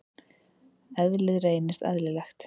Eðlið reynist eðlilegt.